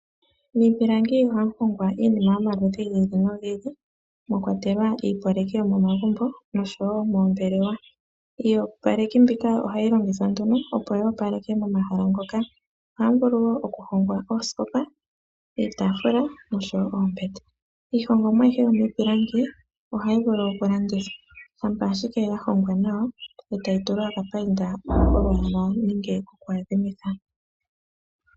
Miipilangi ohamu hongwa iinima yomaludhi giili no giili, mwakwatela iiyopaleki yomomagumbo osho wo moombelewa. Iiyopalekithi mbika ohayi lkngithaa nduno oku wapaleka momahal ngoka, ohamu vulu wo oku hongwa ooskopa, iitafula noombete. Iihongomwa yomiipilangi ohayi vulu oku landithwa shampa owala ya hongwa nawa, etayi tulwa opayinda yolwala nenelge yoku adhimitha.